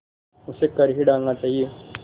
उसे कर ही डालना चाहिए